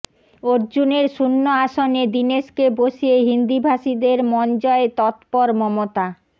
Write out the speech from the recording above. অর্জুনের শূন্য আসনে দীনেশকে বসিয়ে হিন্দিভাষীদের মন জয়ে তৎপর মমতা